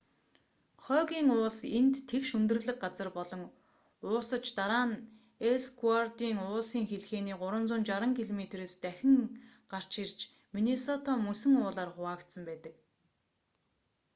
хойгийн уулс энд тэгш өндөрлөг газар болон уусаж дараа нь эллсвордын уулсын хэлхээний 360 км-с дахин гарч ирж миннесота мөсөн уулаар хуваагдсан байдаг